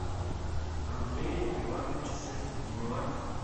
андрея ивановича сайфутдинова